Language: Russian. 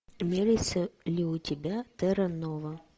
имеется ли у тебя терра нова